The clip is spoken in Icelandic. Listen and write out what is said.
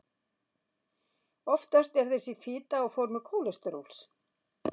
oftast er þessi fita á formi kólesteróls